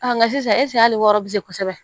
nka sisan hali wɔɔrɔ be se kosɛbɛ